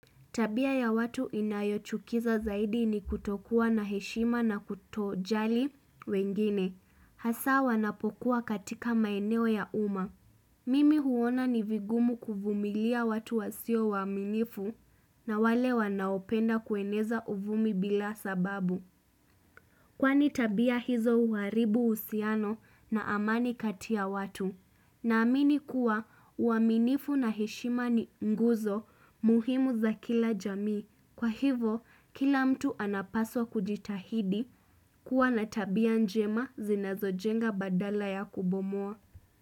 Tabia ya watu inayochukiza zaidi ni kutokuwa na heshima na kutojali wengine. Hasa wanapokuwa katika maeneo ya umma. Mimi huona ni vigumu kuvumilia watu wasiowaaminifu na wale wanaopenda kueneza uvumi bila sababu. Kwani tabia hizo huharibu uhusiano na amani kati ya watu. Naamini kuwa uaminifu na heshima ni nguzo muhimu za kila jamii. Kwa hivyo kila mtu anapaswa kujitahidi kuwa na tabia njema zinazo jenga badala ya kubomoa.